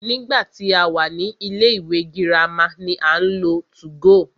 Nígbà tí a wà ní ilé ìwé girama ni à ń lo 2go.